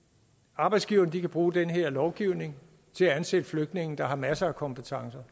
arbejdsgiverne kan bruge den her lovgivning til at ansætte flygtninge der har masser af kompetencer